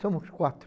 Somos quatro.